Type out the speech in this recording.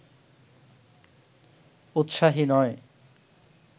উৎসাহী নয়